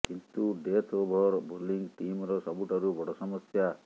କିନ୍ତୁ death over bowling ଟିମର ସବୁଠାରୁ ବଡ଼ ସମସ୍ୟା